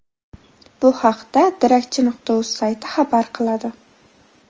Bu haqda Darakchi.uz sayti xabar qiladi .